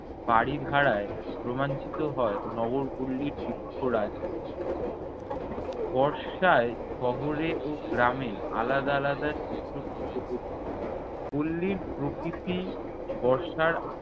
বারিধারায় রোমাঞ্চিত হয় নগরপল্লীর বৃক্ষরাজি বর্ষায় শহরে ও গ্রামে আলাদা আলাদা চিত্র ফুটে ওঠে। পল্লীর প্রকৃতি বর্ষার